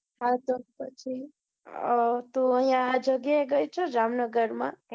હતો પછી તું આ જગ્યા એ ગઈ છે જામ નગર માં